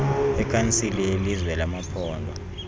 wekhansile yelizwe yamaphondo